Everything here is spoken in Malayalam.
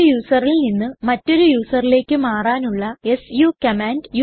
ഒരു userൽ നിന്ന് മറ്റൊരു userലേക്ക് മാറാനുള്ള സു കമാൻഡ്